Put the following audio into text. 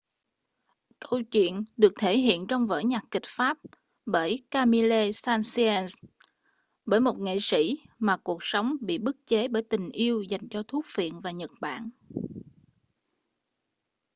câu chuyện được thể hiện trong vở nhạc kịch pháp bởi camille saint-saens bởi một nghệ sĩ mà cuộc sống bị bức chế bởi tình yêu dành cho thuốc phiện và nhật bản